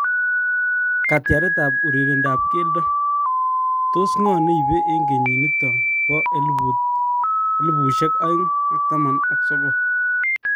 Katyaret ap urerendo ap keldo ,tos ngo naipei eng kenyit nitok poh elput aeng ak taman aka sogol